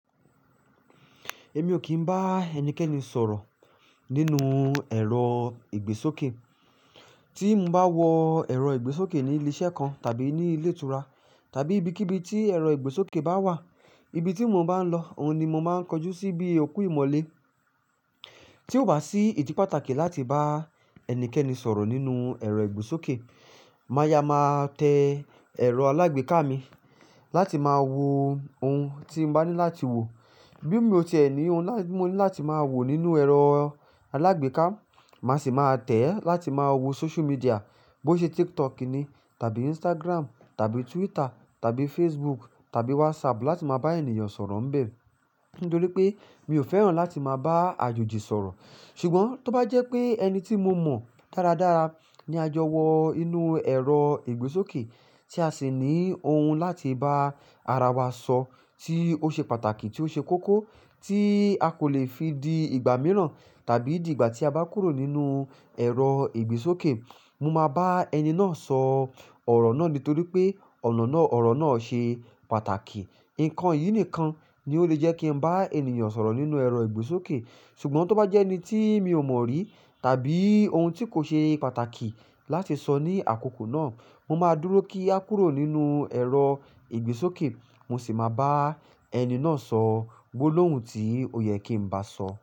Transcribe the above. Èmi ò kí ń bá ẹnikẹ́ni sọ̀rọ̀ nínú ẹ̀rọ ìgbésókè. Tí n bá wọ ẹ̀rọ ìgbésókè ní ilé-iṣẹ́ kan tàbí ní ilé ìtura tàbí ibikíbi tí ẹ̀rọ ìgbésókè bá wà, ibi tí mo bá ń lọ, òun ni mo máa ń kojú sí bí òkú ìmọ́lé. Tí ó bá sí ìdí pàtàkì láti bá ẹnikẹ́ni sọ̀rọ̀ nínú ẹ̀rọ ìgbésókè, máya máa tẹ ẹ̀rọ alágbèéká mi láti máa wo ohun tí n bá ní láti wo. Bí mi ò tẹ̀lé e ní ohun láti, mo ní láti máa wò nínú ẹ̀rọ alágbèéká, màá sì máa tẹ̀ẹ́ láti máa wo social media. Bo ṣe TikTok ni tàbí Instagram tàbí Twitter tàbí Facebook tàbí WhatsApp láti máa bá ènìyàn sọ̀rọ̀ ńbẹ. Nítorí pé mi ò fẹ́ràn láti máa bá àjòjì sọ̀rọ̀. Ṣùgbọ́n tó bá jẹ́ pé ẹni tí mo mọ̀ dáradára ni a jọ wọ inú ẹ̀rọ ìgbésókè tí a sì ní ohun láti bá ara wa sọ tí ó ṣe pàtàkì tí ó ṣe kókó tí a kò le fi di ìgbà mìíràn tàbí di ìgbà tí a bá kúrò nínú ẹ̀rọ ìgbésókè, mo máa bá ẹni náà sọ ọ̀rọ̀ náà nítorí pé ọ̀nà náà, ọ̀rọ̀ náà ṣe pàtàkì. Ǹkan yìí nìkan ni ó lè jẹ́ kí n bá ènìyàn sọ̀rọ̀ nínú ẹ̀rọ ìgbésókè. Ṣùgbọ́n tó bá jẹ́ ẹni tí mi ò mọ̀ rí tàbí ohun tí kò ṣe pàtàkì láti sọ ní àkókò náà, mo máa dúró kí a kúrò nínú ẹ̀rọ ìgbésókè, mo sì máa bá ẹni náà sọ gbólóhùn tí ó yẹ kí ń bá sọ.